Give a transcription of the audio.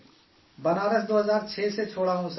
بنارس 2006 سے چھوڑا ہوا ہوں سر